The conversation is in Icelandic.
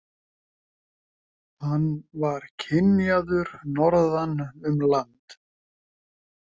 Hann var kynjaður norðan um land.